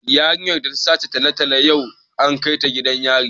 Yarinyar da ta sace talatalo yau an kai ta gidan yari